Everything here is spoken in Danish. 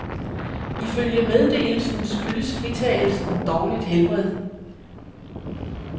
Ifølge meddelelsen skyldes fritagelsen dårligt helbred.